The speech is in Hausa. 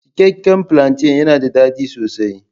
Cikakke plantain yana da daɗi sosai.